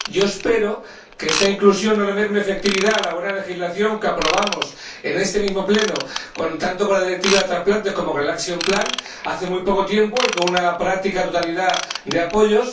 Espero que esta inclusión no le merme efectividad a la buena legislación que aprobamos en este mismo Pleno, tanto con la Directiva sobre transplantes como con el plan de acción hace muy poco tiempo, y con una práctica totalidad de apoyos.